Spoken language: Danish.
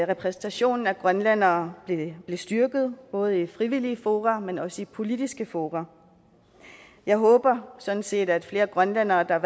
repræsentationen af grønlændere blev styrket både i frivillige fora men også i politiske fora jeg håber sådan set at flere grønlændere der